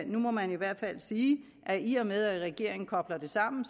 nu må man i hvert fald sige at i og med at regeringen kobler det sammen